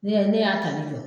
Ne y'a ye ne y'a tali jɔ